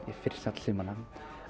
fyrir snjallsímana